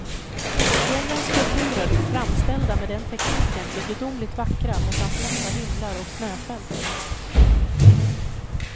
Fjällens konturer framställda med den tekniken blir gudomligt vackra mot hans lätta himlar och snöfält.